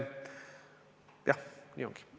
Jah, nii ongi.